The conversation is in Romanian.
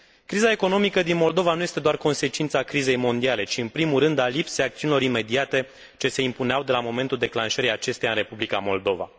Criza economică din Moldova nu este doar consecința crizei mondiale, ci în primul rând a lipsei acțiunilor imediate ce se impuneau de la momentul declanșării acesteia în Republica Moldova.